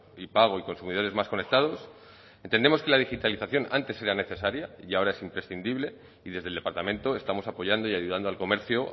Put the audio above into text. y pago y consumidores más conectados entendemos que la digitalización antes era necesaria y ahora es imprescindible y desde el departamento estamos apoyando y ayudando al comercio